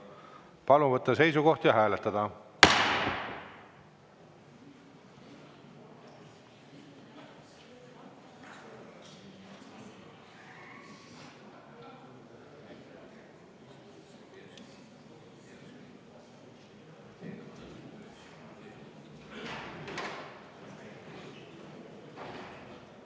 Palun võtta seisukoht ja hääletada!